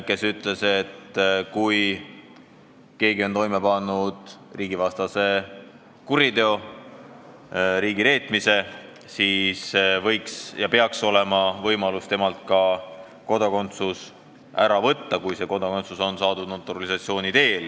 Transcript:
Ta ütles, et kui keegi on toime pannud riigivastase kuriteo, riigireetmise, siis peaks olema võimalus temalt ka kodakondsus ära võtta, kui see kodakondsus on saadud naturalisatsiooni teel.